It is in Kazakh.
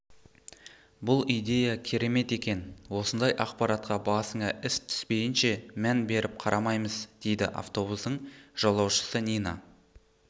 бұл идея керемет екен осындай ақпаратқа басыңа іс түспейінше мән беріп қарамайыз дейді автобустың жолаушысы нина